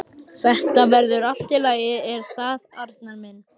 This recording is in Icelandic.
Þetta verður allt í lagi, er það ekki, Arnar minn?